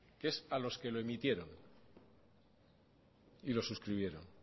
que es a los que lo emitieron y lo suscribieron